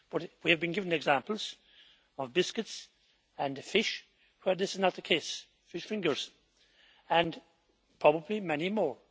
We have been given examples of biscuits and fish where this is not the case fish fingers and probably many more.